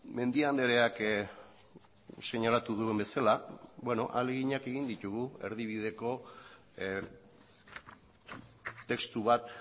mendia andreak seinalatu duen bezala ahaleginak egin ditugu erdibideko testu bat